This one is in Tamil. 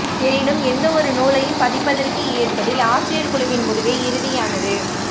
எனினும் எந்த ஒரு நூலையும் பதிப்பிற்கு ஏற்பதில் ஆசிரியர் குழுவின் முடிவே இறுதியானது